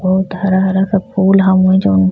बहुत हरा-हरा का फूल हवें जोन।